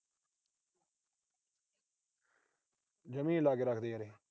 ਜਮਾ ਈ ਨੀ ਲਾ ਕੇ ਰੱਖਦੇ ਯਾਰ ਇਹ।